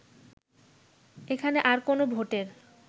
এখানে আর কোন ভোটের